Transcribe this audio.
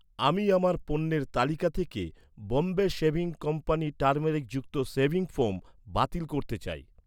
আমি আমার পণ্যের তালিকা থেকে বম্বে শেভিং কোম্পানি টারমেরিকযুক্ত শেভিং ফোম বাতিল করতে চাই।